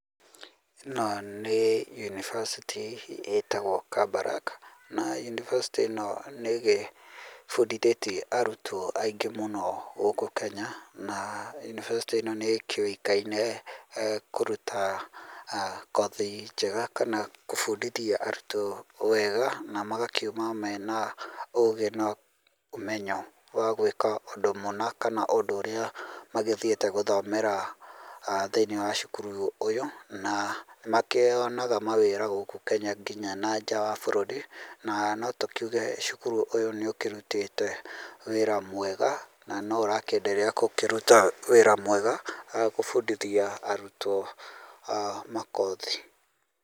Ĩno nĩ yunibacĩtĩ itagwo Kabarak na yunibacĩtĩ ĩno nĩ gĩbundithĩtie arutwo aingĩ mũno gũkũ Kenya na yunibacĩtĩ ĩno nĩ kĩũĩkaine kũruta kothi njega kana kũbundithi arutwo wega na magakiuma mena ũgĩ na omenyo wa gwĩka ũndũ mũna kana ũndũ ũrĩa magĩthiĩte gũthomera thĩinĩ wa cukuru ũyũ na nĩ makĩonaga ma wĩra gũkũ Kenya nginya na nja wa bũrũri na notũkiuge cukuru ũyũ nĩ ũkĩrutĩte wĩra mwega na ũra kĩ endelea gũkĩruta wĩra mwega gũbundithia arutwo makothi.